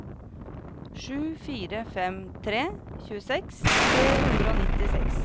sju fire fem tre tjueseks tre hundre og nittiseks